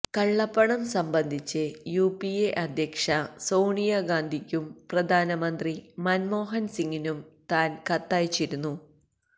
കള്ളപ്പണം സംബന്ധിച്ച് U P A അധ്യക്ഷ സോണിയാഗാന്ധിയ്ക്കും പ്രധാനമന്ത്രി മന്മോഹന് സിംഗിനും താന് കത്തയച്ചിരുന്നു